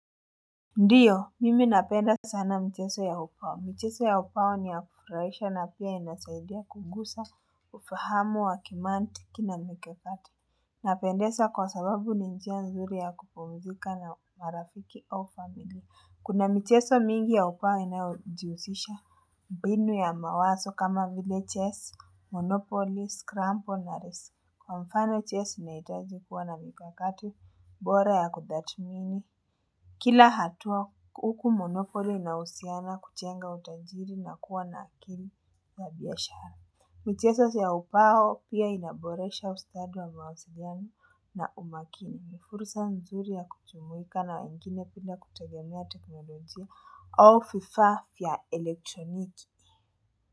Ndiyo, mimi napenda sana mchezo ya ubao. Mchezo ya ubao ni ya kufurahisha na pia inasaidia kugusa, ufahamu wa kimantiki na mikakati Napendeza kwa sababu ni njia nzuri ya kupumzika na marafiki au familia. Kuna michezo mingi ya ubao inaojihusisha mbinu ya mawazo kama vile chess, monopolies, scrampo na resi. Kwa mfano chess unahitaji kuwa na mikakati, bora ya kutathmini. Kila hatua huku monopoly inahusiana kujenga utajiri na kuwa na akili ya biashara. Michezo za ubao pia inaboresha ustadi wa mawasiliano na umakini. Ni fursa nzuri ya kujumuika na wengine bila kutegemea teknolojia au vifaa vya elektroniki.